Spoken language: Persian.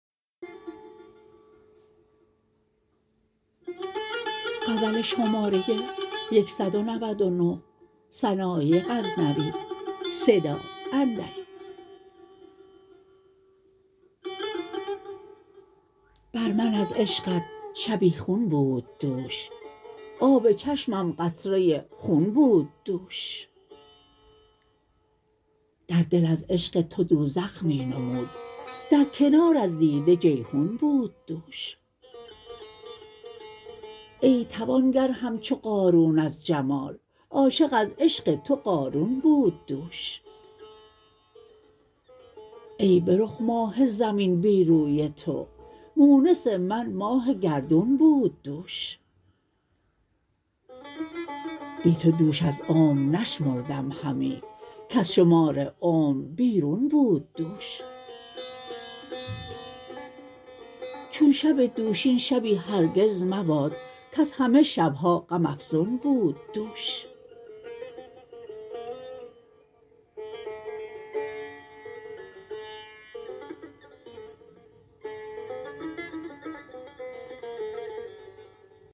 بر من از عشقت شبیخون بود دوش آب چشمم قطره خون بود دوش در دل از عشق تو دوزخ می نمود در کنار از دیده جیحون بود دوش ای توانگر همچو قارون از جمال عاشق از عشق تو قارون بود دوش ای به رخ ماه زمین بی روی تو مونس من ماه گردون بود دوش بی تو دوش از عمر نشمردم همی کز شمار عمر بیرون بود دوش چون شب دوشین شبی هرگز مباد کز همه شبها غم افزون بود دوش